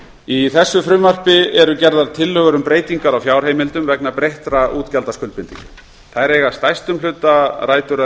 í þessu frumvarpi eru gerðar tillögur um breytingar á fjárheimildum vegna breyttra útgjaldaskuldbindinga þær eiga að stærstum hluta rætur að